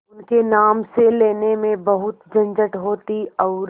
उनके नाम से लेने में बहुत झंझट होती और